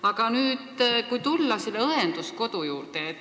Aga nüüd tulen õenduskodu juurde.